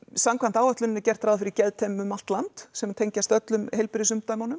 samkvæmt áætluninni er gert ráð fyrir geðteymum um allt land sem tengjast öllum